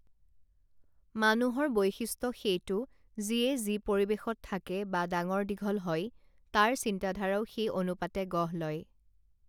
মানুহৰ বৈশিষ্ট্য সেইটো যিয়ে যি পৰিৱেশত থাকে বা ডাঙৰদীঘল হয় তাৰ চিন্তাধাৰাও সেই অনুপাতে গঢ় লয়